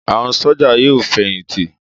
Àwọn sójà yóò fẹ̀yìntì